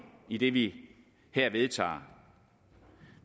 i det vi her vedtager